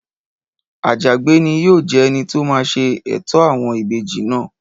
Àjàgbé ni yóò jẹ́ ẹni tó máa ṣe ètò àwọn ìbejì náà